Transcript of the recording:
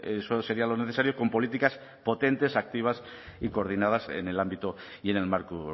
eso sería lo necesario con políticas potentes activas y coordinadas en el ámbito y en el marco